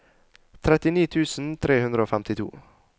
trettini tusen tre hundre og femtito